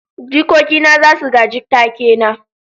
jikoki na za su gaji take na